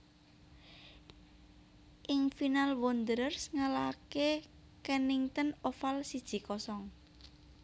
Ing final Wanderers ngalahake Kennington Oval siji kosong